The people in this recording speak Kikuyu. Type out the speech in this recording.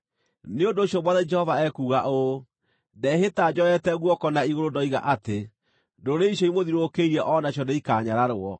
Nĩ ũndũ ũcio Mwathani Jehova ekuuga ũũ: Ndehĩta njoete guoko na igũrũ ndoiga atĩ ndũrĩrĩ icio imũthiũrũrũkĩirie o nacio nĩikanyararwo.